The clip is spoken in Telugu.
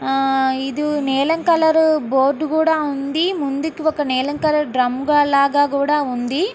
ఇది నీలం కలరు బోర్డు కూడా ఉంది. ఒక నీలం కలరు డ్రమ్ము లాగా కూడా ఉంది.